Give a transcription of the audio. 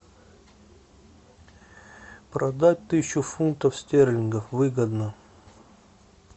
продать тысячу фунтов стерлингов выгодно